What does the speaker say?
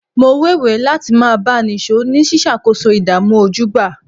Mo wéwèé láti máa bá a nìṣó ní ṣíṣàkóso ìdààmú ojúgbà